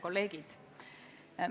Kolleegid!